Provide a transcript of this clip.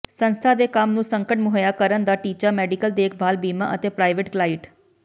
ਸੰਸਥਾ ਦੇ ਕੰਮ ਨੂੰ ਸੰਕਟ ਮੁਹੱਈਆ ਕਰਨ ਦਾ ਟੀਚਾ ਮੈਡੀਕਲ ਦੇਖਭਾਲ ਬੀਮਾ ਅਤੇ ਪ੍ਰਾਈਵੇਟ ਕਲਾਇਟ